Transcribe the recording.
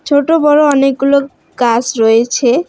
ছোটো বড়ো অনেকগুলো গাছ রয়েছে।